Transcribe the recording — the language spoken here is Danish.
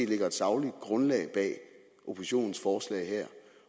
ligger et sagligt grundlag bag oppositionens forslag her